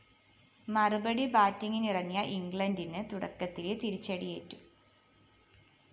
മറുപടി ബാറ്റിങ്ങിനിറങ്ങിയ ഇംഗ്ലണ്ടിന് തുടക്കത്തിലേ തിരിച്ചടിയേറ്റു